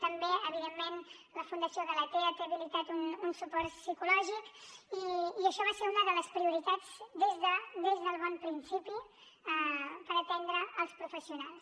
també evidentment la fundació galatea té habilitat un suport psicològic i això va ser una de les prioritats des del bon principi per atendre els professionals